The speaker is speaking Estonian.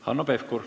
Hanno Pevkur.